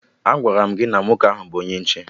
Agwara m gị na nwoke ahụ gburu onye nche